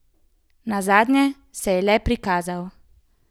Nazadnje se je le prikazal.